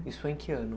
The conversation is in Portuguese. Isso foi em que ano?